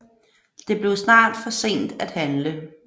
Det blev snart for sent at handle